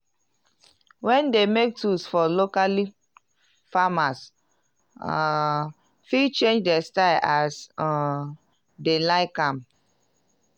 wen dem make tools for locally farners um fit change dey style as um dem like am.